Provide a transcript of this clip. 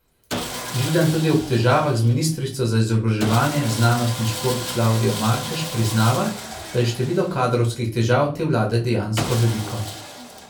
Židan tudi ob težavah z ministrico za izobraževanje, znanost in šport Klavdijo Markež priznava, da je število kadrovskih težav te vlade dejansko veliko.